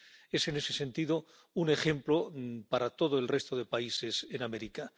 Es, en ese sentido, un ejemplo para todo el resto de países en América.